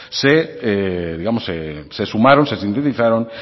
se sumaron se sintetizaron